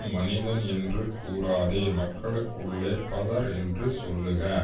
மனிதன் என்று கூறாதே மக்களுக்குள்ளே பதர் என்று சொல்லுக